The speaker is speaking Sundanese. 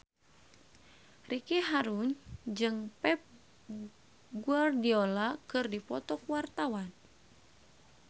Ricky Harun jeung Pep Guardiola keur dipoto ku wartawan